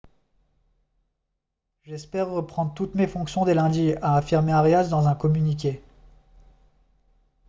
j'espère reprendre toutes mes fonctions dès lundi » a affirmé arias dans un communiqué